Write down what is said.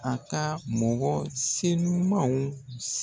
A ka mɔgɔ senimaw